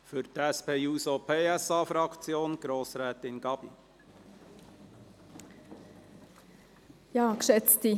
Für die SP-JUSO-PSA-Fraktion hat Grossrätin Gabi das Wort.